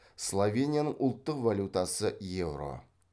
словенияның ұлттық валютасы еуро